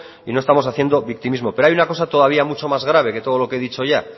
y no estamos haciendo victimismo pero hay una cosa todavía mucho más grave que todo lo que he dicho ya